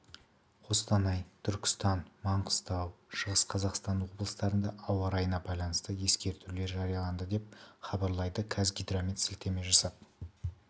қостанай түркістан маңғыстау шығыс қазақстан облыстарында ауа райына байланысты ескерту жарияланды деп хабарлайды қазгидромет сілтеме жасап